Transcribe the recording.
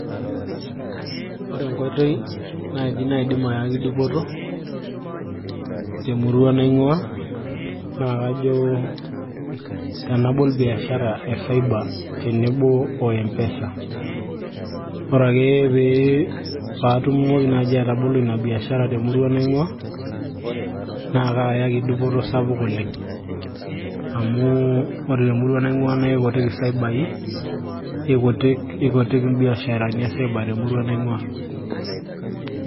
ore enkoitoi naaji naidim ayaki dupoto temurua naing'ua naa kajo tenabol biashara e cyber tenebo o mpesa ore ake pee paatumoki naaji atabolo ina biashara temurua naing'ua naa kaayaki dupoto sapuk oleng amu ore temurua naing'ua naa ikutik isaibai ikutik imbiasharani e cyber temurua naing'ua.